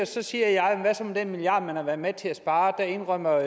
så siger jeg hvad så med den milliard man har været med til at spare der indrømmer